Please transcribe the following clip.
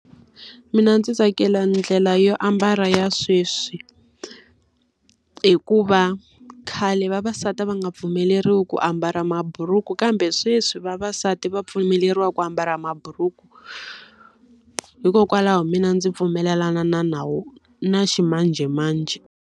Mina ndzi tsakela ndlela yo ambala ya sweswi. Hikuva khale vavasati va nga pfumeleriwi ku ambala maburuku kambe sweswi vavasati va pfumeleriwa ku ambala maburuku. Hikokwalaho mina ndzi pfumelelana na nawu na ximanjhemanjhe.